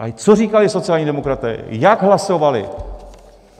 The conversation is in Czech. Ale co říkali sociální demokraté, jak hlasovali?